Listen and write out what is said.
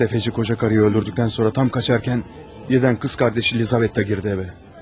Təfəçi qocanı öldürdükdən sonra tam qaçarkən, yerdən qız qardaşı Elizabet də girdi evə.